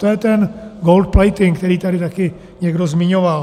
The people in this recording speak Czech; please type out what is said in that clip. To je ten gold-plating, který tady také někdo zmiňoval.